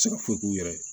Se ka foyi k'u yɛrɛ ye